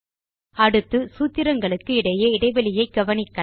அடுத்து சூத்திரங்களுக்கு இடையே இடைவெளியை கவனிக்கலாம்